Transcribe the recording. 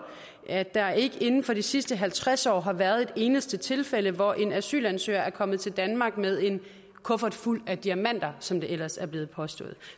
at der ikke inden for de sidste halvtreds år har været et eneste tilfælde hvor en asylansøger er kommet til danmark med en kuffert fuld af diamenter som det ellers er blevet påstået